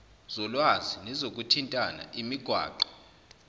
zolwazi nezokuthintana imigwaqo